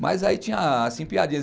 Mas aí tinha, assim, piadinhas.